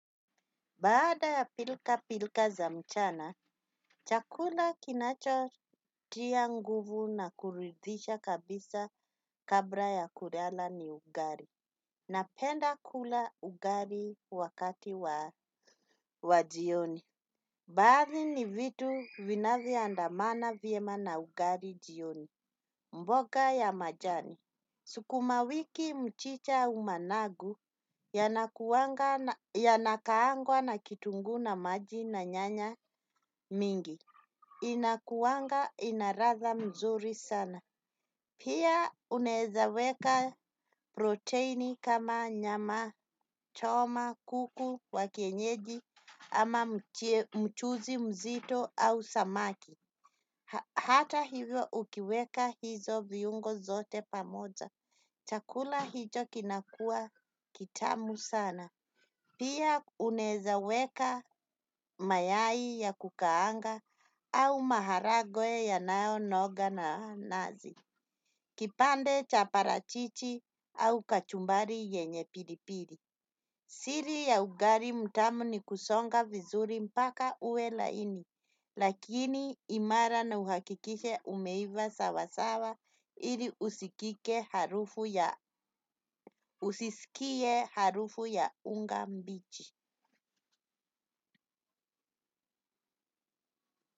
Baada ya pilka-pilka za mchana, chakula kinachotia nguvu na kuridhisha kabisa kabra ya kulala ni ugari. Napenda kula ugari wakati wa jioni. Baadhi ni vitu vinavyoandamana vyema na ugari jioni. Mboga ya majani. Sukumawiki, mchicha, managu, yanakuwanga, yanakaangwa na kitunguu na maji na nyanya mingi. Inakuanga ina ratha mzuri sana. Pia unaweza weka proteini kama nyamachoma, kuku wa kienyeji ama mchuzi mzito au samaki. Hata hivyo ukiweka hizo viungo zote pamoja. Chakula hicho kinakuwa kitamu sana. Pia unaeza weka mayai ya kukaanga au maharagwe yanayonoga na nazi. Kipande cha parachichi au kachumbari yenye pilipili. Siri ya ugari mtamu ni kusonga vizuri mpaka uwe laini, lakini imara na uhakikishe umeiva sawasawa ili usisikie harufu ya unga mbichi.